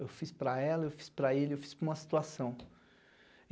Eu fiz para ela, eu fiz para ele, eu fiz para uma situação.